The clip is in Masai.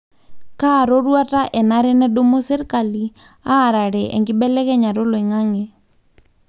kaa roruata enare nedumu serkali arare enkibelekenyata eoloingange?